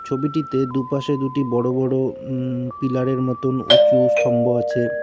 ছবিটিতে দুপাশে দুটি বড়ো বড়ো উম পিলারের মতোন উঁচু স্থম্ভ আছে।